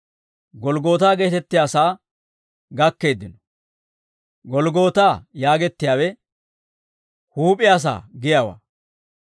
Golggootaa geetettiyaasaa gakkeeddino. «Golggootaa» yaagettiyaawe «Huup'iyaasaa» giyaawaa.